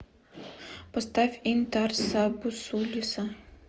поставь интарса бусулиса